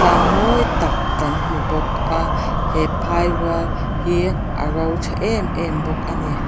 tlang mawi tak kan hmu bawk a he phai rual hi a ro tha em em bawk a ni.